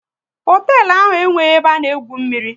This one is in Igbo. Hoteelu ahụ enweghị ebe a na-egwu mmiri